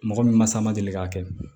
Mɔgɔ min masa ma deli k'a kɛ